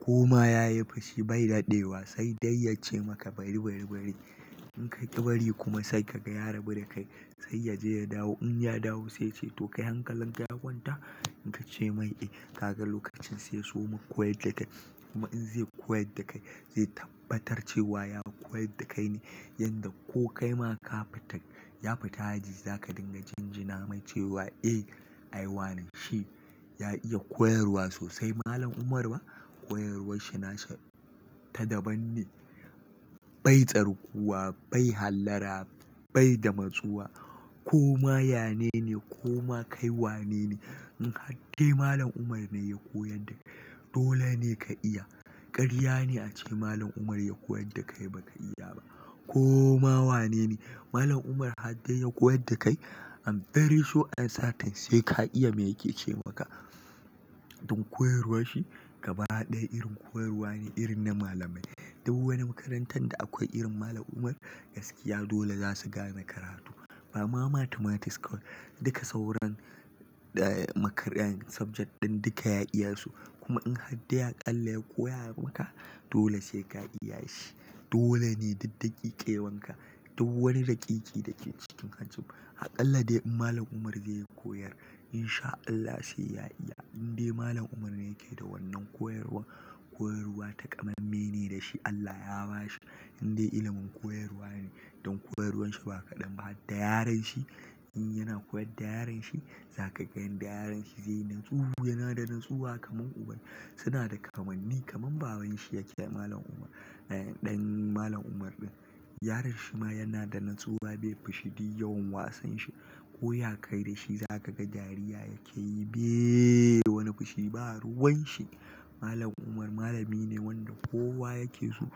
Koma ya yi fushi bai daɗewa sai dai ya ce maka bari bari bari. In kaƙi bari kuma sai ka ga ya rabu da kai sai ya je ya dawo. In ya dawo sai ya ce to kai hankalin ka ya kwanta? In ka ce mai eh, ka ga lokacin sai ya soma koyar da kai. Kuma in zai koyar da kai zai tabbatar cewa ya koyar da kai ne yanda ko kai ma ka fita, ya fita haji za ka dinga jin jina mai cewa eh ai wane shi. Ya iya koyarwa sosai Malam Umar ba. Koyarwar shi na ta daban ne. Bai tsarguwa, bai hallara, bai da matsuwa. Koma ya nene, koma kai wa nene. In hadde Malam Umar ne ya koyar dakai dole ne ka iya. Ƙarya ne ace Malam Umar ya koyar da kai ba ka iya ba. Ko ma wanene Malam Umar hadde ya koyar da kai iam very sure and certain sai ka iya me yake ce maka. Don koyarwar shi gaba ɗaya irin koyarwa ne, irin na malamai. Dou wani makarantar da akwai irin Malam Umar gaskiya dole za su gane karatu. Ba ma Mathematics kawai, duka sauran, eh makarian subject ɗin duka ya iya su. Kuma in hadde aƙalla ya koya maka dole sai ka iya shi. Dole ne diddigi ƙewan ka. Dou wani daƙiƙi da ke cikin hajib. Aƙalla dai in Malam Umar zai yi koyar in sha Allah sai ya iya. In dai Malam Umar ne yake da wannan koyarwa, koyarwa takamamme ne da shi Allah ya ba shi. Indai ilimin koyarwa ne. Don koyarwar shi ba kaɗan ba, hadda yaron shi. In yana koyar da yaron shi za ka ga yan da yaron shi zai yi natsu. Yana da natsuwa kaman uban. Suna da kamanni kaman baban shi yake Malam Umar. Eh ɗan Malam Umar ɗin. Yaron shi ma yana da natsuwa bai fushi duk yawan wasan shi. Ko ya kai da shi za ka ga dariya yake yi bai da wani fushi ba. Ruwan shi. Malam Umar malamine wanda kowa yake so,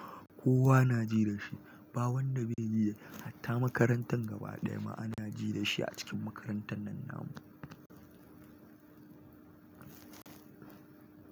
kowa na ji da shi. Ba wanda bai ji dashi hatta makarantan gaba ɗaya ma ana ji dashi a cikin makarantan nan namu.